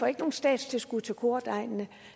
ikke noget statstilskud til kordegnene